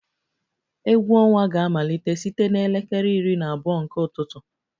Egwu ọnwa ga-amalite site na elekere iri na abụọ nke ụtụtụ